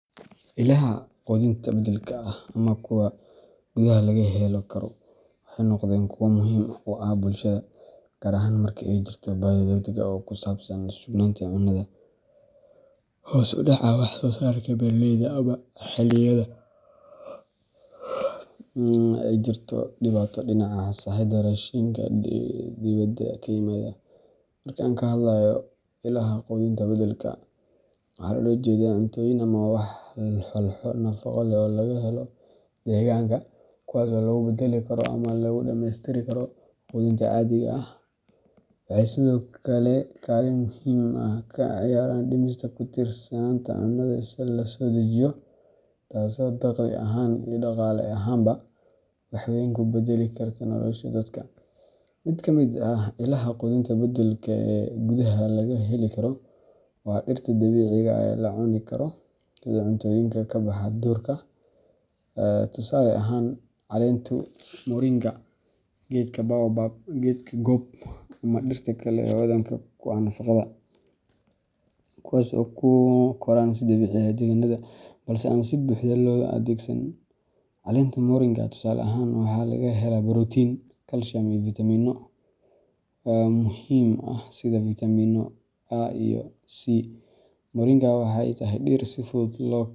Ilaha quudinta beddelka ah ama kuwa gudaha laga heli karo waxay noqdeen kuwo muhiim u ah bulshada, gaar ahaan marka ay jirto baahi degdeg ah oo ku saabsan sugnaanta cunnada, hoos u dhaca wax soo saarka beeraleyda, ama xilliyada ay jirto dhibaato dhinaca sahayda raashinka dibadda ka yimaada. Marka aan ka hadlayno "ilaha quudinta beddelka ah", waxa loola jeedaa cuntooyin ama walxo nafaqo leh oo laga helo deegaanka, kuwaas oo lagu beddeli karo ama lagu dhammaystiri karo quudinta caadiga ah. Waxay sidoo kale kaalin muhiim ah ka ciyaaraan dhimista ku tiirsanaanta cunnada la soo dejiyo, taasoo dakhli ahaan iyo dhaqaale ahaanba wax weyn ka beddeli karta nolosha dadka. Mid ka mid ah ilaha quudinta beddelka ah ee gudaha laga heli karo waa dhirta dabiiciga ah ee la cuni karo sida cuntooyinka ka baxa duurka tusaale ahaan, caleenta moringa, geedka baobab, geedka gob, ama dhirta kale ee hodanka ku ah nafaqada, kuwaas oo ku koraan si dabiici ah deegaannada qaar, balse aan si buuxda loo adeegsan. Caleenta moringa, tusaale ahaan, waxaa laga helaa borotiin, kalsiyum, iyo fiitamiinno muhiim ah sida vitamino A iyo C. Moringa waxa ay tahay dhir si fudud loo.